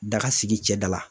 Daga sigi cɛda la